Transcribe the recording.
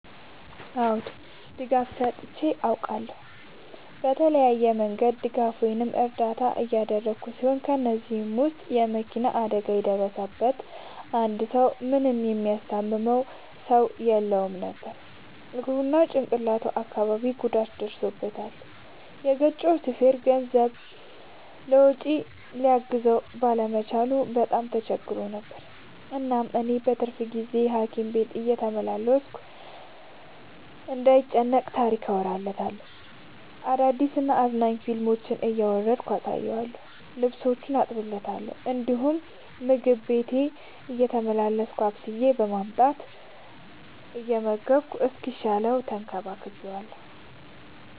አዎ ድጋፍ ሰጥቼ አውቃለሁ። በተለያየ መንገድ ድጋፍ ወይም እርዳታ ያደረግሁ ሲሆን ከ እነዚህም ውስጥ የ መኪና አደጋ የደረሠበትን አንድ ሰው ምንም የሚያስታምመው ሰው የለውም ነበር እግሩ ላይ እና ጭቅላቱ አካባቢ ጉዳት ደርሶበታል። የገጨው ሹፌርም ከገንዘብ ውጪ ሊያግዘው ባለመቻሉ በጣም ተቸግሮ ነበር። እናም እኔ በትርፍ ጊዜዬ ሀኪም ቤት እየተመላለስኩ እንዳይ ጨንቀው ታሪክ አወራለታለሁ፤ አዳዲስ እና አዝናኝ ፊልሞችን እያወረድኩ አሳየዋለሁ። ልብሶቹን አጥብለታለሁ እንዲሁም ምግብ ቤቴ እየተመላለስኩ አብስዬ በማምጣት እየመገብኩ እስኪሻለው ተንከባክቤዋለሁ።